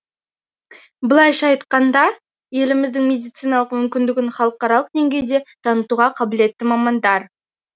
былайша айтқанда еліміздің медициналық мүмкіндігін халықаралық деңгейде танытуға қабілетті мамандар